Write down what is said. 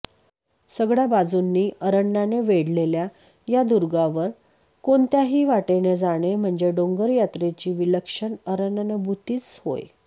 सगळ्या बाजूंनी अरण्याने वेढलेल्या या दुर्गांवर कोणत्याही वाटेने जाणे म्हणजे डोंगरयात्रेची विलक्षण अरण्यानुभूतीच होय